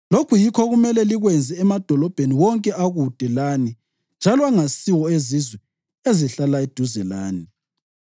Lokhu yikho okumele likwenze emadolobheni wonke akude lani njalo angasiwo ezizwe ezihlala eduzane lani.